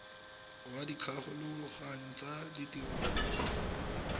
wa dikgolagano tsa ditiro go